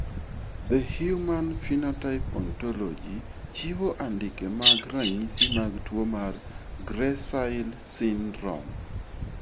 The Human Phenotype Ontology chiwo andike mag Ranyisi mag tuwo mar GRACILE syndrome.